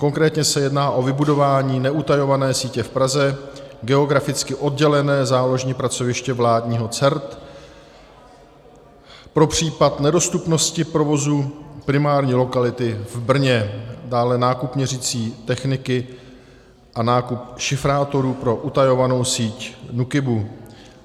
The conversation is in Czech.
Konkrétně se jedná o vybudování neutajované sítě v Praze, geograficky oddělené záložní pracoviště vládního CERT pro případ nedostupnosti provozu primární lokality v Brně, dále nákup měřicí techniky a nákup šifrátorů pro utajovanou síť NÚKIBu.